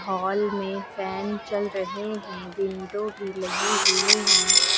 Hall में fan चल रहे हैं विंडो भी लगी हुई हैं।